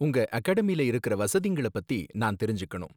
உங்க அகாடமில இருக்குற வசதிங்கள பத்தி நான் தெரிஞ்சுக்கணும்.